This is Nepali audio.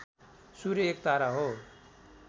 सूर्य एक तारा हो